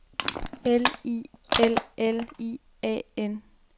L I L L I A N